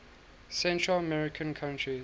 central american countries